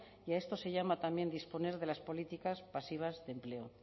y a esto se llama también disponer de las políticas pasivas de empleo